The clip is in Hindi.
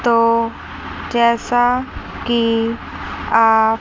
तो जैसा की आप--